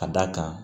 Ka d'a kan